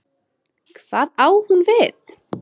Hvað á hún við?